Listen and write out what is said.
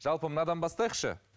жалпы мынадан бастайықшы